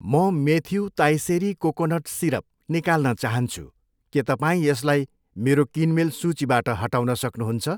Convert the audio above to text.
म Matthew Thaiseri coconut syrup निकाल्न चाहन्छु, के तपाईँ यसलाई मेरो किनमेल सूचीबाट हटाउन सक्नुहुन्छ?